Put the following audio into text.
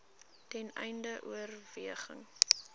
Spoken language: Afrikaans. ten einde oorweging